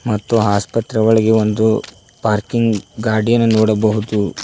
ಮತ್ತು ಆಸ್ಪತ್ರೆಯ ಒಳಗೆ ಒಂದು ಪಾರ್ಕಿಂಗ್ ಗಾಡಿಯನ್ನು ನೋಡಬಹುದು.